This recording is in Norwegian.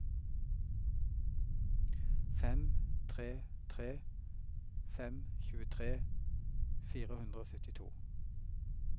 fem tre tre fem tjuetre fire hundre og syttito